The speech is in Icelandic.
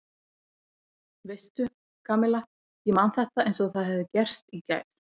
Veistu, Kamilla ég man þetta eins og það hefði gerst í gær.